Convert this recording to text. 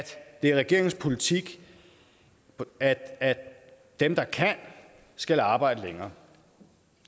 det er regeringens politik at dem der kan skal arbejde længere